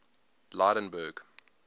lydenburg